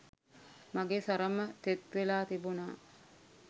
මගෙ සරම තෙත් වෙලා තිබුණා.